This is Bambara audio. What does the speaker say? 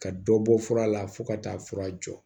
Ka dɔ bɔ fura la fo ka taa fura jɔ